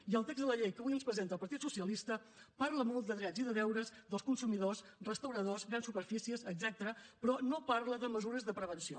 i el text de la llei que avui ens presenta el partit socialista parla molt de drets i de deures dels consumidors restauradors grans superfícies etcètera però no parla de mesures de prevenció